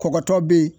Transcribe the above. Kɔkɔtɔ bɛ yen